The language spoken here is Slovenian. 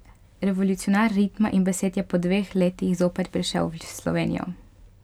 Revolucionar ritma in besed je po dveh letih zopet prišel v Slovenijo.